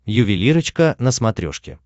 ювелирочка на смотрешке